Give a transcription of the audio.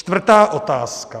Čtvrtá otázka.